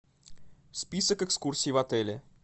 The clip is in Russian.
список экскурсий в отеле